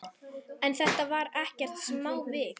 En þetta var ekkert smávik.